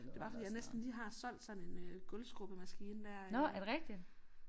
Det bare fordi jeg næsten lige har solgt sådan en øh gulvskrubbe maskine der øh